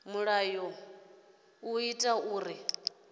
mulayo zwi ḓo ita uri